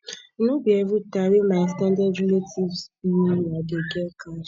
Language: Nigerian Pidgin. no be everytime wey my ex ten ded relatives bill me i dey get cash